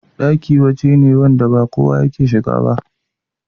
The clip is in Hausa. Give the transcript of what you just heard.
Ɗaki waje ne wanda ba kowa ne yake shiga ba